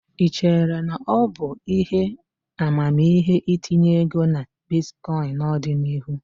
Ị chere na ọ bụ ihe amamihe itinye ego na bitkọịn n'ọdịnihu?